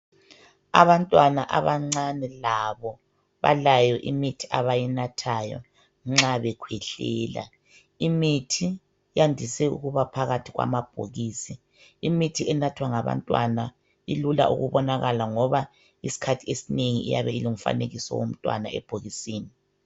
Abantwana abancane labo balayo imithi abayinathayo nxa bekhwehlela. Imithi yandise ukuba phakathi kwamabhokisi. Imithi enathwa ngabantwana ilula ukubonakala ngoba isikhathi esinengi iyabe ilomfanekiso womntwana ebhokisini.